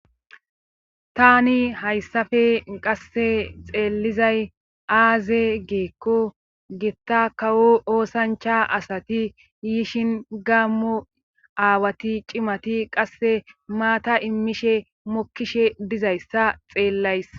tani hayssafe qasse xeellizay aaze giikko gitta kawo oosancha asati yishin gaammo aawati cimati qasse maata immishe mokkishe dizayssa xeellays